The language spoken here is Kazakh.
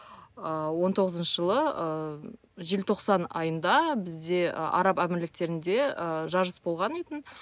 ыыы он тоғызыншы жылы ыыы желтоқсан айында бізде ы араб әмірліктерінде ы жарыс болған еді тін